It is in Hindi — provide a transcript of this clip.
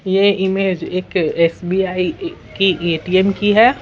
यह इमेज एक एसबीआई की एटीएम की है।